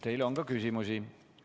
Teile on ka küsimusi.